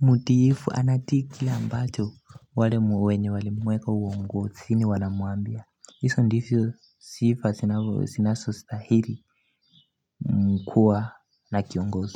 mutiifu anatii kile ambacho wale mwenye walimweka uongozini wanamwambia. Hizo ndizo sifa zinasostahili m kuwa na kiongosi.